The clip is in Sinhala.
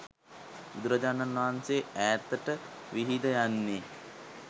බුදුරජාණන් වහන්සේ ඈතට විහිද යන්නේ